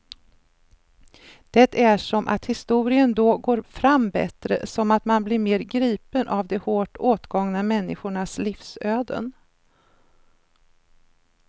Det är som att historien då går fram bättre, som att man blir mer gripen av de hårt åtgångna människornas livsöden.